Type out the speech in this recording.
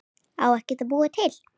Á ekkert að búa til?